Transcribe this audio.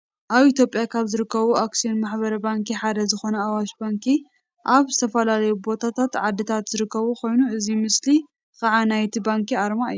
ኣብ ኢትዮጵያ ካብ ዝርከቡ ኣክስዮን ማሕበር ባንኪ ሓደ ዝኮነ ኣዋሽ ባንኪ ኣብ ዝተፈላለዩ ቦታታትን ዓድታትን ዝርከብ ኮይኑ እዚ ምስሊ ካኣ ናይቲ ባንኪ ኣርማ እዩ።